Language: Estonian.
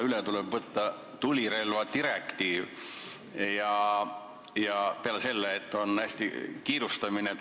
Üle tuleb võtta tulirelvadirektiiv, ja seda hästi kiirustades.